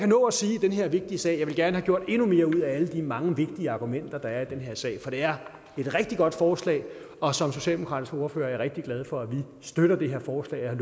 nå at sige i den her vigtige sag jeg ville gerne have gjort endnu mere ud af alle de mange vigtige argumenter der er i den her sag for det er et rigtig godt forslag og som socialdemokratisk ordfører er jeg rigtig glad for at vi støtter det her forslag jeg